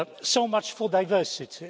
So much for diversity.